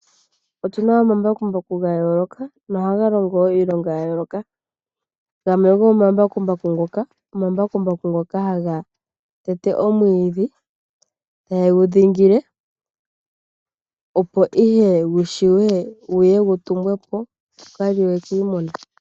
Otuna omambakumbaku ga yooloka no haga longo iilonga ya yooloka, gamwe go momambakumbaku ngoka omambakumbaku ngono haga tete omwiidhi ye gu dhingile opo ihe yiye yitumbwepo yi kaliwe kiimuna.